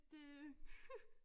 Det